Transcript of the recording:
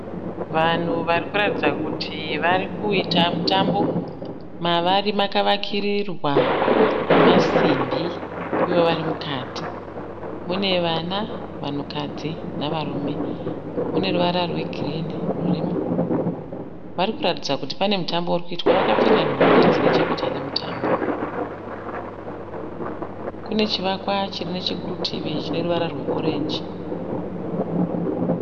Vanhu varikuratidza kuti varikuita mutambo. Mavari makavakirirwa nemasimbi ivo varimukati. Mune vana, vanhukadzi nevarume. Mune ruvara rwegirinhi rurimo. Varikuratidza kuti pane mutambo urikuitwa uye vakapfeka nhumbi dzinechekuita nemutambo. Pane chivakwa chiripo chineruvara rwe(orange).